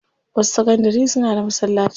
Wasu sakandari suna da masallaci.